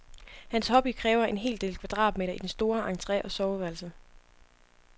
Hans hobby kræver en hel del kvadratmeter i den store entre og soveværelset.